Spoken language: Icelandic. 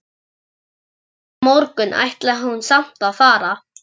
Næsta morgun ætlaði hún samt að fara.